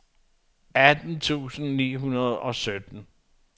atten tusind ni hundrede og sytten